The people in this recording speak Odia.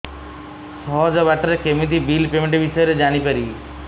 ସହଜ ବାଟ ରେ କେମିତି ବିଲ୍ ପେମେଣ୍ଟ ବିଷୟ ରେ ଜାଣି ପାରିବି